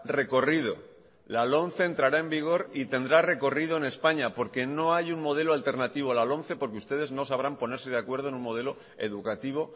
recorrido la lomce entrará en vigor y tendrá recorrido en españa porque no hay un modelo alternativo a la lomce porque ustedes no sabrán ponerse de acuerdo en un modelo educativo